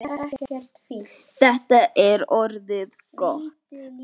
Þetta er orðið gott.